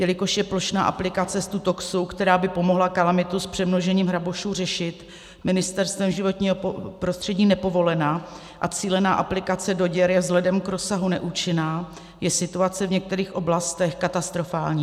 Jelikož je plošná aplikace Stutoxu, která by pomohla kalamitu s přemnožením hrabošů řešit, Ministerstvem životního prostředí nepovolená a cílená aplikace do děr je vzhledem k rozsahu neúčinná, je situace v některých oblastech katastrofální.